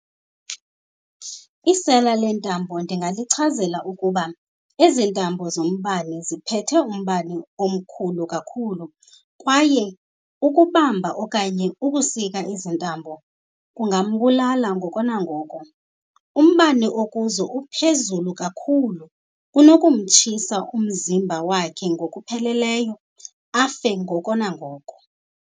Isela leentambo ndingalichazela ukuba ezi ntambo zombane ziphethe umbane omkhulu kakhulu kwaye ukubamba okanye ukusika ezi ntambo kungambulala ngoko nangoko. Umbane okuzo uphezulu kakhulu, unokumtshisa umzimba wakhe ngokupheleleyo afe ngoko nangoko.